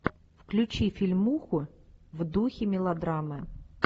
включи фильмуху в духе мелодрамы